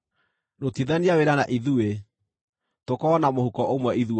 rutithania wĩra na ithuĩ, tũkorwo na mũhuko ũmwe ithuothe”;